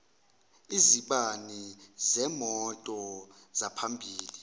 izibani zemoto zaphambili